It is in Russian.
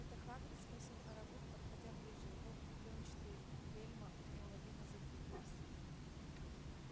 это хагрид спросил арагог подходя ближе его плёнчатые бельма неуловимо задвигались